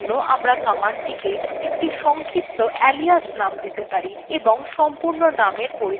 in জন্য আমরা কমান্ডকে একটি সংক্ষিপ্ত alias name দিতে পারি এবং সম্পূর্ণ নামের পরিবর্তে সেই রূপক বা alias name ব্যবহার করতে পারি